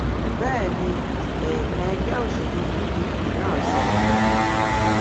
bẹẹ ni ẹẹkan ẹgbẹ òṣèlú pdp náà sọ